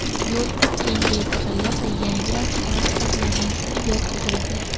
Yo‘l kengaytirilib, yangi asfalt qoplamasi yotqizildi.